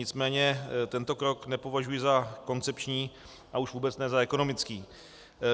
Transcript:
Nicméně tento krok nepovažuji za koncepční a už vůbec ne za ekonomický.